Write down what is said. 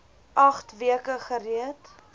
agt weke gereed